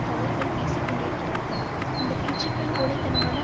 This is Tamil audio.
தவறுகள் பேசிக்கொண்டிருக்கிறார்கள் அந்த பேச்சுக்கள் கோழை தனமான